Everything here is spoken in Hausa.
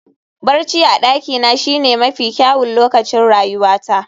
Barci a dakina shine mafi kyawun lokacin rayuwata